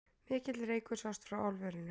Mikill reykur sást frá álverinu